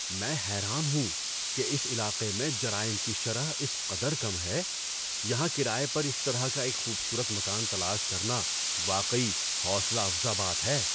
میں حیران ہوں کہ اس علاقے میں جرائم کی شرح اس قدر کم ہے! یہاں کرایہ پر اس طرح کا ایک خوبصورت مکان تلاش کرنا واقعی حوصلہ افزا بات ہے۔